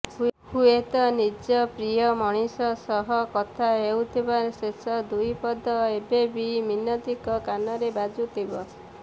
ହୁଏତ ନିଜ ପ୍ରିୟ ମଣିଷ ସହ କଥା ହୋଇଥିବା ଶେଷ ଦୁଇ ପଦ ଏବେବି ମିନତିଙ୍କ କାନରେ ବାଜୁଥିବ